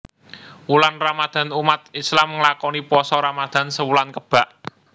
Wulan Ramadan umat Islam nglakoni Pasa Ramadan sewulan kebak